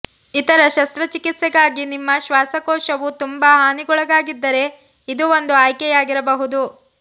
ಇತರ ಶಸ್ತ್ರಚಿಕಿತ್ಸೆಗಾಗಿ ನಿಮ್ಮ ಶ್ವಾಸಕೋಶವು ತುಂಬಾ ಹಾನಿಗೊಳಗಾಗಿದ್ದರೆ ಇದು ಒಂದು ಆಯ್ಕೆಯಾಗಿರಬಹುದು